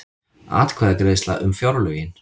Atkvæðagreiðsla um fjárlögin